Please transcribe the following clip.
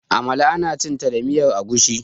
amala ana cinta da miyar agushi